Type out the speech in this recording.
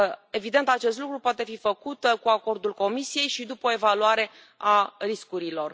Evident, acest lucru poate fi făcut cu acordul Comisiei și după o evaluare a riscurilor.